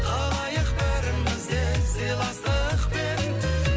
қалайық бәріміз де сыйластықпен